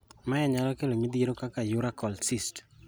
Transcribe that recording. Mae nyalo kelo midhiero kaka urachal cysts.